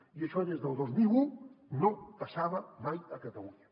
i això des del dos mil un no passava mai a catalunya